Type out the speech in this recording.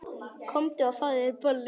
Komdu og fáðu þér bollur.